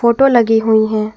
Photo लगी हुई हैं।